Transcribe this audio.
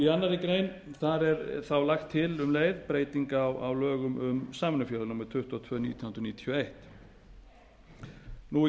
í annarri grein er lögð til um leið breyting á lögum um samvinnufélög númer tuttugu og tvö nítján hundruð níutíu og eitt stutt